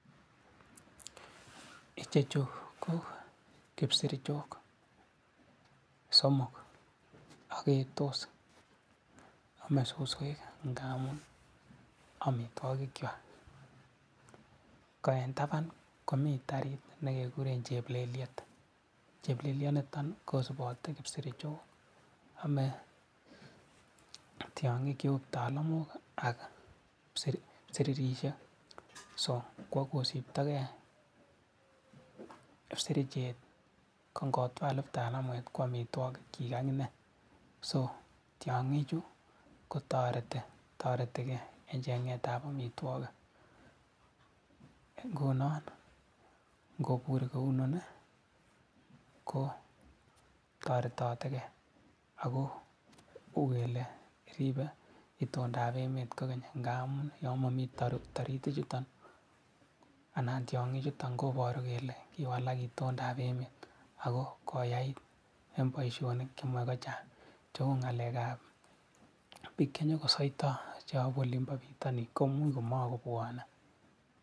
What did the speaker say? Chicho ko kipsircho somok aketos aamei suswek ngamun amitwokikwai. Ko eng taban komitei tarit nekekurei chepleliet, chepleleit niton kosupotei kipsirchoi, aamei tiongik cheu kiptalamwok ak kipsiririsiek, so ngo siptokei kipsirchoi konakta kiptalamwet ko amitwokikchi akinee. So tiongichu kotoretikei eng chengeetab amitwokik. Ngunon kopur kounon ko toretatikei ako kouyon ripei itoondab emet ngamun yon mami taritichuto ak tiongichuto koparu kele kiwalak itoondab emet ako koyai eng boisionik chemae kochang cheu ngalekab biik chenyokosoitoi cheyapu olimbo bitonin komuch komakobwani.